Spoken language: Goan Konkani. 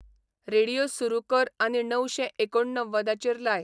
रेडीयो सुरू कर आनी णवशें एकोणव्वदाचेर लाय